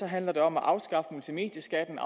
handler det om at afskaffe multimedieskatten